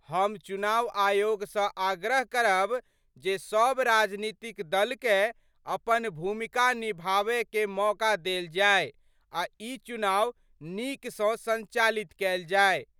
हम चुनाव आयोग स आग्रह करब जे सब राजनीतिक दल कए अपन भूमिका निभाबय क मौका देल जाए आ ई चुनाव नीक सं संचालित कैल जाए।